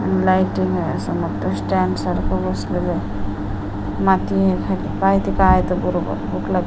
lighting असं मोठं stand सारखं बसवलंय माती हाय खाली काही इथं काही आहेत बरोबर --